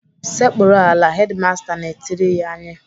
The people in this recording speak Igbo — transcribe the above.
"Sekpuru ala!" Hedimasta na-etiri anyị.